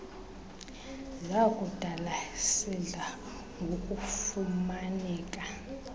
zakudala sidla ngokufumaneka